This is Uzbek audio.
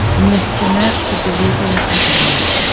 “Neftchi”ni Superligaga qaytaramiz.